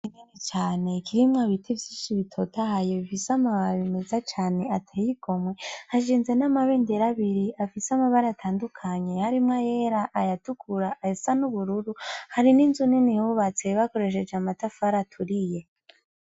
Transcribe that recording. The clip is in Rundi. Kinini cane ikirimwo ibiti vyinshi bitotahaye bifise amabare bimeza Cane ateyi igomwe hashinze n'amabendera abiri afise amabare atandukanye harimwo yera aya tukura asa n'ubururu hari n'inzu nini hubatse bakoresheje amatafara aturiye.